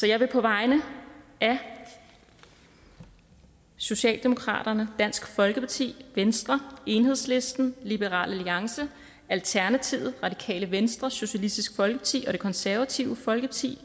jeg nu på vegne af socialdemokratiet dansk folkeparti venstre enhedslisten liberal alliance alternativet radikale venstre socialistisk folkeparti og det konservative folkeparti